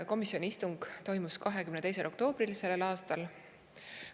Komisjoni istung toimus 22. oktoobril sellel aastal.